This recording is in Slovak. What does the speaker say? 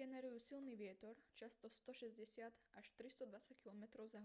generujú silný vietor často 160 – 320 km/h